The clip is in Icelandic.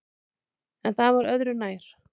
En það var öðru nær!